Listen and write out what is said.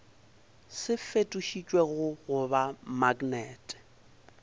se fetošitšwego go ba maknete